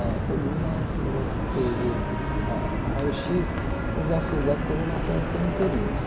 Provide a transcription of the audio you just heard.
A coluna, se você ver ah o raio xis, os ossos da coluna estão estão inteirinhos.